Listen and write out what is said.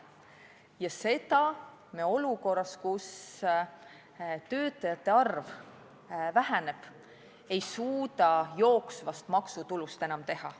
Seda ei suuda me olukorras, kus töötajate arv väheneb, jooksvast maksutulust enam teha.